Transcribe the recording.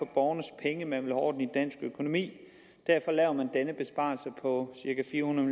borgernes penge at man vil have orden i dansk økonomi derfor laver man denne besparelse på cirka fire hundrede